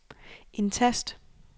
indtast